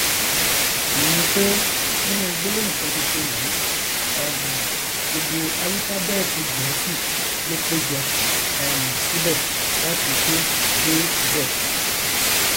ìyẹn ni pé nínú gbólóhùn kan ṣoṣo yìí um gbogbo álúfábẹẹtì gẹẹsì ló péjọ um síbẹ láti a dé z